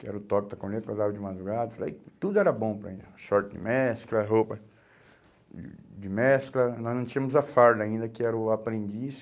Que era o toque da corneta, acordava de madrugada, tudo era bom para mim, short de mescla, roupa de de mescla, nós não tínhamos a farda ainda, que era o aprendiz.